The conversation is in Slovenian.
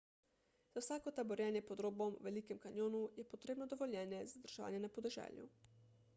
za vsako taborjenje pod robom v velikem kanjonu je potrebno dovoljenje za zadrževanje na podeželju